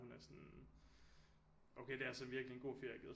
Hun er sådan okay det er altså virkelig en god ferie